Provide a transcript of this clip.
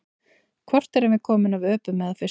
Hvort erum við komin af öpum eða fiskum?